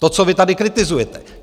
To, co vy tady kritizujete.